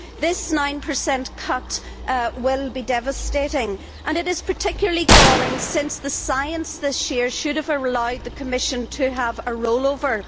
This 9 cut will be devastating, and it is particularly galling since the science this year should have allowed the Commission to have a roll over.